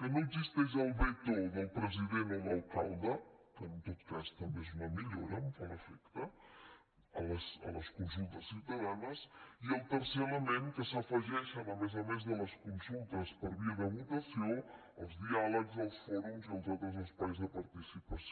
que no existeix el veto del president o l’alcalde que en tot cas també és una millora em fa l’efecte a les consultes ciutadanes i el tercer element que s’afegeixen a més a més de les consultes per via de votació els diàlegs els fòrums i els altres espais de participació